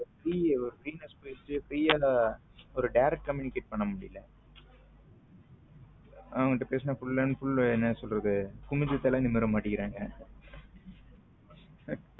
free freeness போயிடுச்சு free யா direct ஆ communicate பண்ண முடியல அவங்க கிட்ட பேசினா full and full என்ன சொல்லுறது குனிஞ்ச தலை நிமிர மாட்டேங்குறாங்க